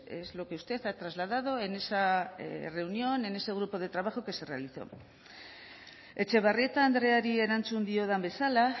es lo que usted ha trasladado en esa reunión en ese grupo de trabajo que se realizó etxebarrieta andreari erantzun diodan bezala